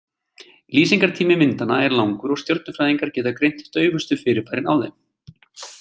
Lýsingartími myndanna er langur og stjörnufræðingar geta greint daufustu fyrirbærin á þeim.